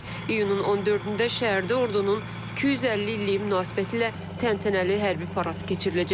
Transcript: İyunun 14-də şəhərdə ordunun 250 illiyi münasibətilə təntənəli hərbi parad keçiriləcək.